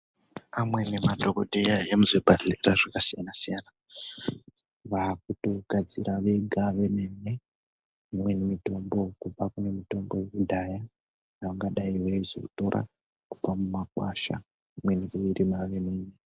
Amweni madhokodheya emuzvibhadhkera zvaksiyana siyana vakutigadzira vega vemene imweni mitombk kubva kune mitombo yekudhaya vangadai veyizotora kubva mumakwasha.